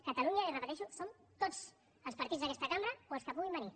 catalunya li ho repeteixo som tots els partits d’aquesta cambra o els que puguin venir